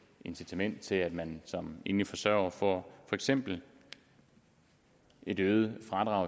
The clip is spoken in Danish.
incitament til at man som enlig forsørger får for eksempel et øget